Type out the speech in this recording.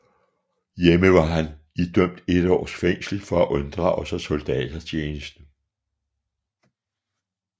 Hjemme var han idømt et års fængsel for at unddrage sig soldatertjeneste